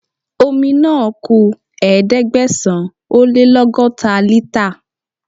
Omi náà ku Ẹ̀ẹ́dẹ̀gbẹ̀sán-ó-lé-lọ́gọ́ta lítà.